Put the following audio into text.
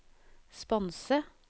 sponse